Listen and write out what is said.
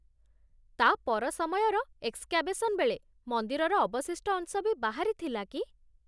ତା' ପର ସମୟର ଏକ୍ସକ୍ୟାଭେସନ୍ ବେଳେ ମନ୍ଦିରର ଅବଶିଷ୍ଟ ଅଂଶ ବି ବାହାରିଥିଲା କି?